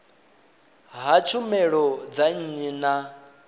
ha tshumelo dza nnyi na